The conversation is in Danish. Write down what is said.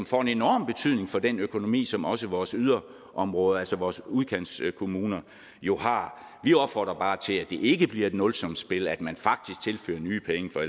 får en enorm betydning for den økonomi som også vores yderområder altså vores udkantskommuner jo har vi opfordrer bare til at det ikke bliver et nulsumsspil men at man faktisk tilfører nye penge for